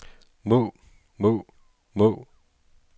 må må må